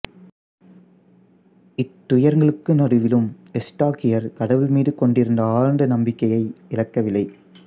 இத்துயரங்களுக்கு நடுவிலும் எஸ்தாக்கியார் கடவுள் மீது கொண்டிருந்த ஆழ்ந்த நம்பிக்கையை இழக்கவில்லை